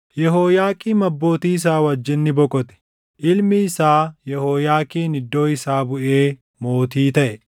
Yehooyaaqiim abbootii isaa wajjin ni boqote. Ilmi isaa Yehooyaakiin iddoo isaa buʼee mootii taʼe.